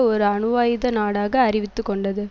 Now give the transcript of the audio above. ஒரு அணுவாயுத நாடாக அறிவித்து கொண்டது